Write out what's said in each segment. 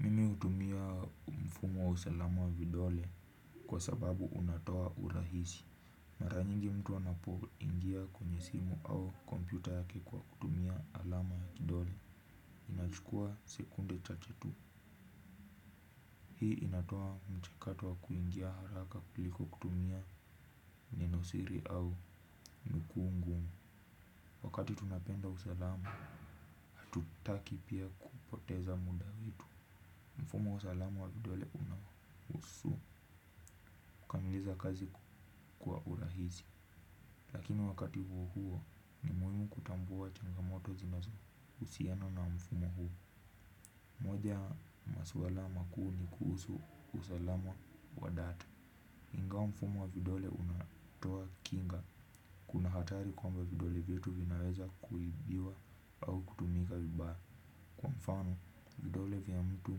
Mimi hutumia mfumo wa usalama wa vidole kwa sababu unatoa urahisi. Mara nyingi mtu anapoingia kwenye simu au kompyuta yake kwa kutumia alama ya kidole. Inachukua sekunde chache tu. Hii inatoa mchakato wa kuingia haraka kuliko kutumia nenosiri au vikuu ngumu. Wakati tunapenda usalama, hatutaki pia kupoteza muda wetu. Mfumo wa usalamu wa vidole unahusu. Kukamilisha kazi kwa urahisi lakini wakati uo huo muhimu kutambua changamoto zinazohusiana na mfumo huu mmoja ya maswala makuu ni kuhusu usalama wa data ingawa mfumo wa vidole unatoa kinga. Kuna hatari kwamba vidole vyetu vinaweza kuibiwa au kutumika vibaya. Kwa mfano, vidole vya mtu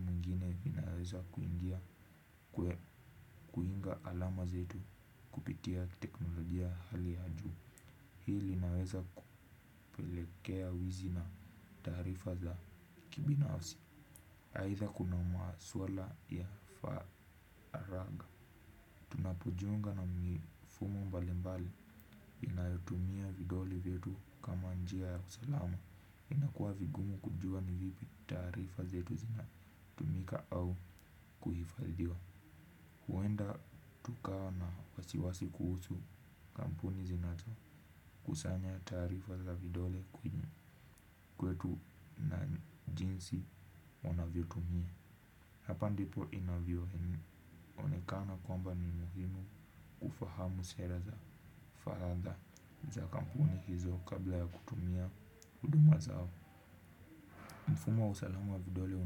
mwingine vinaweza kuingia. Kuiga alama zetu kupitia teknolojia ya hali ya juu. Hii linaweza kupelekea wizi na taarifa za kibinafsi aitha kuna maswala ya faragha. Tunapojiunga na mifumo mbalimbali wanayotumia vidole vyetu kama njia ya usalama inakuwa vigumu kujua ni vipi taarifa zetu zinatumika au kuhifadhiwa. Huenda tukawa na wasiwasi kuhusu kampuni zinazo kusanya taarifa za vidole kwetu na jinsi wanavyoitumia hapa ndipo inavyoonekana kwamba ni muhimu kufahamu sera za faradha za kampuni hizo kabla ya kutumia huduma zao mfumo wa usalama wa vidole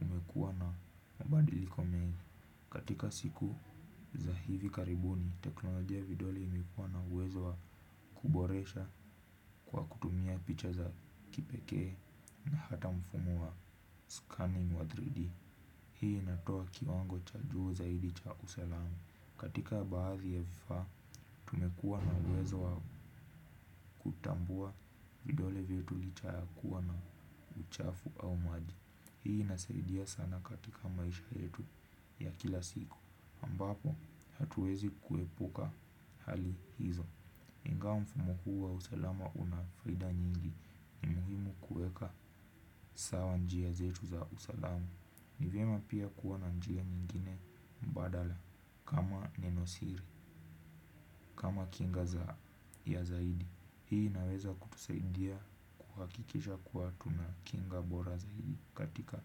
umekuwa na mabadiliko mengi katika siku za hivi karibuni teknolojia ya vidole imekuwa na uwezo wa kuboresha kwa kutumia picha za kipekee na hata mfumo wa scanning wa 3D. Hii inatoa kiwango cha juu zaidi cha usalamu. Katika baadhi ya vifaa imekuwa na uwezo wa kutambua vidole vyetu licha ya kuwa na uchafu au maji. Hii inasaidia sana katika maisha yetu ya kila siku ambapo hatuwezi kuepuka hali hizo ingawa mfumo huu wa usalama una faida nyingi ni muhimu kuweka sawa njia zetu za usalama ni vyema pia kuwa na njia nyingine mbadala kama nenosiri, kama kinga ya zaidi. Hii inaweza kutusaidia kuhakikisha kuwa tuna kinga bora zaidi katika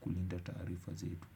kulinda taarifa zetu.